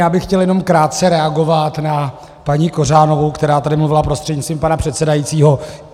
Já bych chtěl jenom krátce reagovat na paní Kořánovou , která tady mluvila prostřednictvím pana předsedajícího.